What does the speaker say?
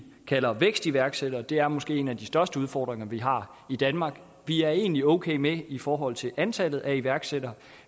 kalder vækstiværksættere og det er måske en af de største udfordringer vi har i danmark vi er egentlig okay med i forhold til antallet af iværksættere